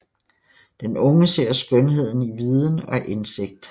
Den unge ser skønheden i viden og indsigt f